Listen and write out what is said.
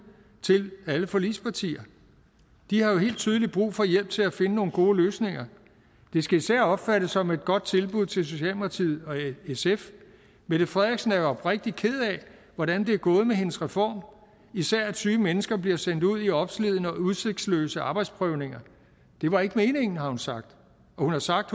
til alle forligspartier de har jo helt tydeligt brug for hjælp til at finde nogle gode løsninger det skal især opfattes som et godt tilbud til socialdemokratiet og sf mette frederiksen er jo oprigtig ked af hvordan det er gået med hendes reform især at syge mennesker bliver sendt ud i opslidende og udsigtsløse arbejdsprøvninger det var ikke meningen har hun sagt og hun har sagt